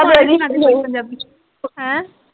ਪੰਜਾਬੀ ਚ ਹੈਂ।